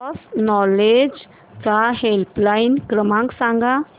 cross knowledge चा helpline क्रमांक सांगा